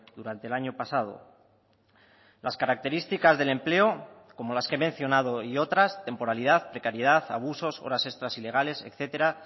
durante el año pasado las características del empleo como las que he mencionado y otras temporalidad precariedad abusos horas extras ilegales etcétera